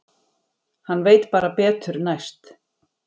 Hann veit bara betur næst.